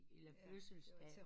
Eller fødselsdag